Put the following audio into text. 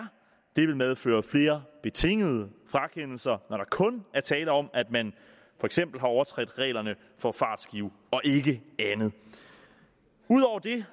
det vil medføre flere betingede frakendelser når der kun er tale om at man har overtrådt reglerne for fartskiven og ikke andet ud over det